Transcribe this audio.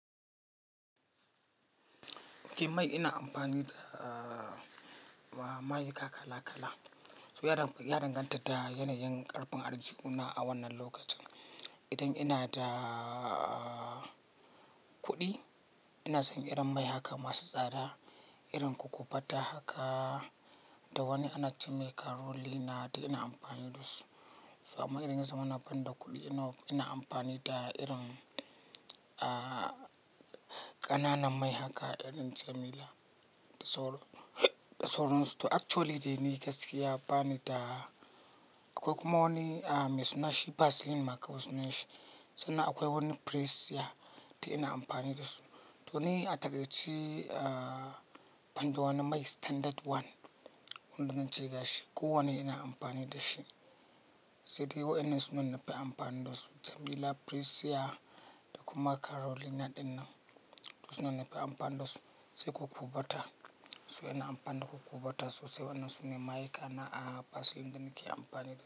Ke mai ina amfani da, ah, mayika kala kala. So ya danganta da yanayin ƙarfin arziki una a wannan lokacin. Idan ina da, ah, kuɗi ina son irin mai haka masu tsada, irin kukubata haka da wani ana cewa karolina da ina amfani da su. Amma idan zamu na ban da kuɗi ina amfani da irin, ah, ƙananan mai haka irin jamila. Da soro, da soron su to actually dai ni gaskiya bani da, akwai kuma wani, ah, mai suna shi vaseline ma kawai sunan shi. Sannan akwai wani prisia duk ina amfani da su. To ni a takaici, ah, banda wanni mai standard one, wanda dan ce gashi ko wannan ina amfani da shi, sai dai wa'yannan suna nan nafi amfani da su. Jamila, prisia da kuma karolina ɗinnan, to suna nan nafi amfani da su sai kokobota. So ina amfani da kokobota so sai wannan sune mayu kana, ah, vaseline da nake amfani da su.